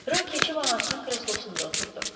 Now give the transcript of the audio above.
Rö keçib anasının kreslosunda oturdu.